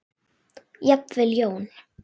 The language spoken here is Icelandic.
Jafnvel Jón